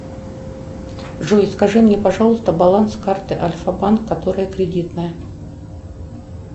джой скажи мне пожалуйста баланс карты альфа банк которая кредитная